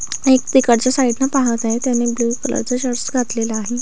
एक तिकडच्या साइड न पाहत आहे त्याने ब्ल्यू कलर चा शर्ट घातलेला आहे.